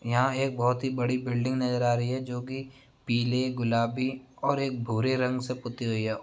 यहाँ एक बोहोत ही बड़ी बिल्डिंग नज़र आ रही है जो कि पीलेगुलाबी और एक भूरे रंग से पुती हुई है।